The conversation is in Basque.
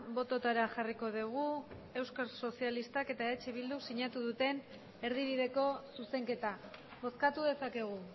bototara jarriko dugu euskal sozialistak eta eh bildu sinatu duten erdibideko zuzenketa bozkatu dezakegu